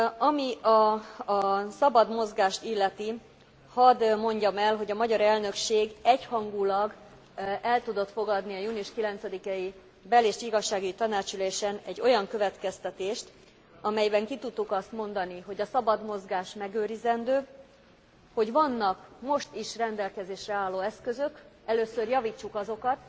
Ami a szabad mozgást illeti, hadd mondjam el, hogy a magyar elnökség egyhangúlag el tudott fogadni a június 9 i bel és igazságügyi tanácsi ülésen egy olyan következtetést, amelyben ki tudtuk azt mondani, hogy a szabad mozgás megőrizendő, hogy vannak most is rendelkezésre álló eszközök, először javítsuk azokat,